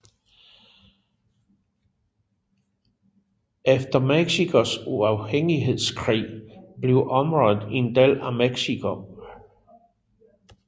Efter Mexicos uafhængighedskrig blev området en del af Mexico